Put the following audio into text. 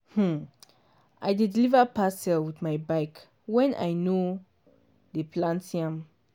um i dey deliver parcel with my bike when i no dey plant yam.